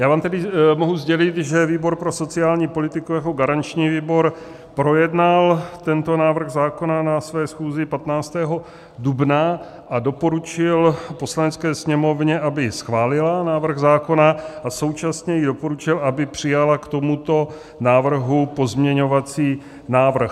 Já vám tedy mohu sdělit, že výbor pro sociální politiku jako garanční výbor projednal tento návrh zákona na své schůzi 15. dubna a doporučil Poslanecké sněmovně, aby schválila návrh zákona, a současně jí doporučil, aby přijala k tomuto návrhu pozměňovací návrh.